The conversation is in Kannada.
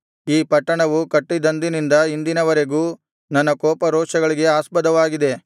ಈ ಪಟ್ಟಣವು ಕಟ್ಟಿದಂದಿನಿಂದ ಇಂದಿನವರೆಗೂ ನನ್ನ ಕೋಪರೋಷಗಳಿಗೆ ಆಸ್ಪದವಾಗಿದೆ